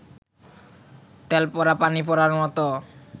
তেল পড়া, পানি পড়ার মতো